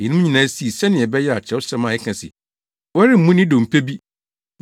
Eyinom nyinaa sii sɛnea ɛbɛyɛ a Kyerɛwsɛm a ɛka se, “Wɔremmu ne dompe bi”